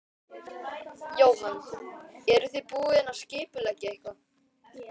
Jóhann: Eruð þið búin að skipuleggja eitthvað?